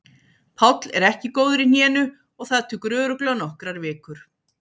Páll er ekki góður í hnénu og það tekur örugglega nokkrar vikur.